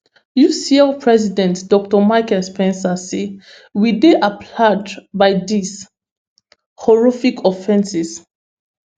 ucl president dr michael spence say we dey appallage by dis horrific offences